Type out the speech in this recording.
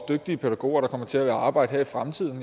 dygtige pædagoger der kommer til at arbejde der i fremtiden